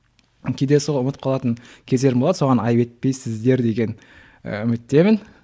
кейде сол ұмытып қалатын кездерім болады соған айып етпейсіздер деген ііі үміттемін